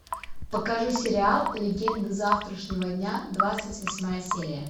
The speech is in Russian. покажи сериал легенды завтрашнего дня двадцать восьмая серия